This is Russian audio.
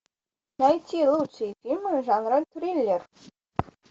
найти лучшие фильмы жанра триллер